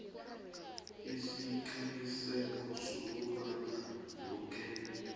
isiqiniseko sokobana woke